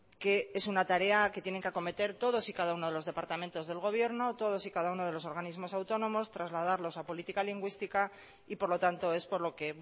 que esuna tarea que tienen que acometer todos y cada uno de los departamentos del gobierno todos y cada uno de los organismos autónomos trasladarlos a política lingüística y por lo tanto es por lo que